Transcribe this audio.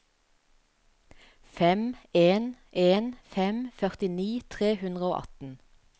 fem en en fem førtini tre hundre og atten